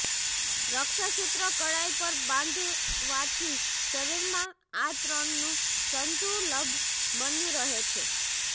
રક્ષાસૂત્ર કળાઈ પર બાંધવાથી શરીરમાં આ ત્રણ નું સંતુલબ બન્યું રહે છે